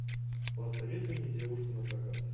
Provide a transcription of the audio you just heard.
посоветуй мне девушку напрокат